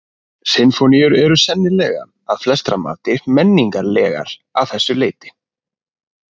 Sinfóníur eru sennilega að flestra mati menningarlegar að þessu leyti.